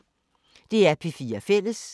DR P4 Fælles